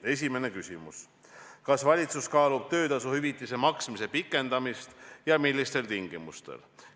Esimene küsimus: "Kas valitsus kaalub töötasu hüvitise maksmise pikendamist ja millistel tingimustel?